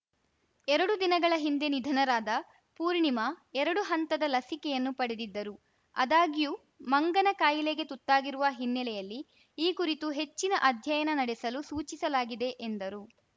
ಎರಡು ದಿನಗಳ ಹಿಂದೆ ನಿಧನರಾದ ಪೂರ್ಣಿಮಾ ಎರಡು ಹಂತದ ಲಸಿಕೆಯನ್ನು ಪಡೆದಿದ್ದರು ಅದಾಗ್ಯೂ ಮಂಗನ ಕಾಯಿಲೆಗೆ ತುತ್ತಾಗಿರುವ ಹಿನ್ನೆಲೆಯಲ್ಲಿ ಈ ಕುರಿತು ಹೆಚ್ಚಿನ ಅಧ್ಯಯನ ನಡೆಸಲು ಸೂಚಿಸಲಾಗಿದೆ ಎಂದರು